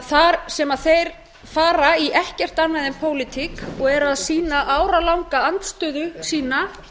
þar sem þeir fara í ekkert annað en pólitík og eru að sýna áralanga andstöðu sína